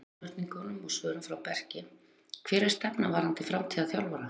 Hluti af spurningunum og svörum frá Berki: Hver er stefnan varðandi framtíðar þjálfara?